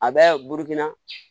A bɛ burukina